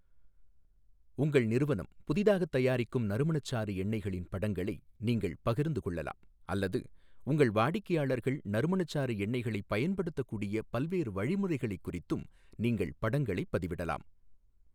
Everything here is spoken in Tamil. உங்கள் நிறுவனம் புதிதாகத் தயாரிக்கும் நறுமணச்சாறு எண்ணெய்களின் படங்களை நீங்கள் பகிர்ந்து கொள்ளலாம் அல்லது உங்கள் வாடிக்கையாளர்கள் நறுமணச்சாறு எண்ணெய்களைப் பயன்படுத்தக்கூடிய பல்வேறு வழிமுறைகளைக் குறித்தும் நீங்கள் படங்களைப் பதிவிடலாம்.